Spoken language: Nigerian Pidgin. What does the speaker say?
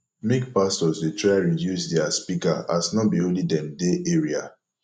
make pastors dey try reduce dia speaker as no be only dem dey area